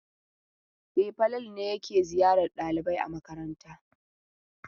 E, Falalu ne yake ziyarar ɗalibai a makaranta.